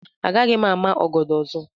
Agaghị m ama ọgọdọ ọzọ.